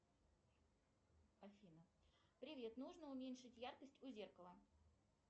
афина привет нужно уменьшить яркость у зеркала